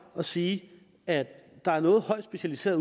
at sige at der er noget højt specialiseret